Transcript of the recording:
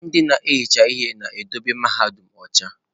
Ndị na-ehicha ihe na-edobe mahadum ọcha.